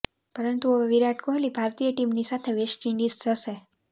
પરંતુ હવે વિરાટ કોહલી ભારતીય ટીમની સાથે વેસ્ટ ઈન્ડિઝ જશે